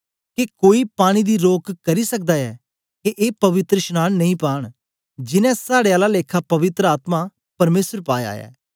के कोई पानी दी रोक करी सकदा ऐ के ए पवित्रशनांन नेई पांन जिनैं साड़े आला लेखा पवित्र आत्मा परमेसर पाया ऐ